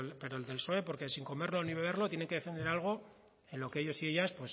pero el psoe porque sin comerlo ni beberlo tiene que defender algo en los que ellos y ellas